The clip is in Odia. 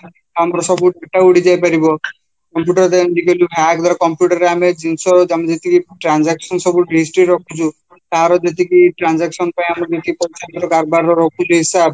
ଆମର ସବୁ data ଉଡିଯାଇ ପାରିବ computer hack ଦ୍ଵାରା computer ଆମେ ଜିନିଷ ଆମେ ଯେତିକି transaction ଯେତିକି history ରେ ରଖୁଛୁ ତାର ଯେତିକି transaction ପାଇଁ ଆମେ କାରବାର ରହୁଛି ହିସାବ